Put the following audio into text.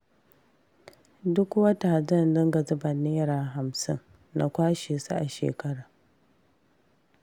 Duk wata zan dinga zuba Naira hamsin, na kwashe su a shekara